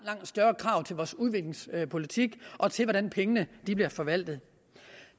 større krav til vores udviklingspolitik og til hvordan pengene bliver forvaltet